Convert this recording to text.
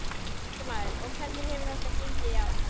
Fréttamaður: Og hvernig hefur þetta gengið í ár?